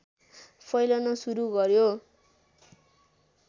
फैलन सुरु गर्‍यो